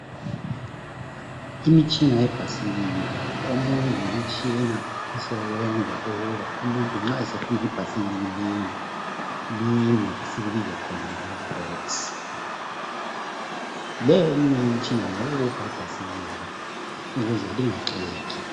Imitshina yebhasikili. Omunye ngumtshina ngosebenza ukuba umuntu nxa esefuna ibhasikili lime, lime ,esikubiza khona ngama"brakes".Leyo eminye imitshina ngeyokubopha ibhasikili ukuze lingaxegi.